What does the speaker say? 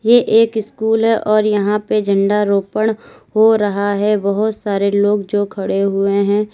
ये एक स्कूल है और यहां पे झंडा रोपण हो रहा है बहुत सारे लोग जो खड़े हुए हैं।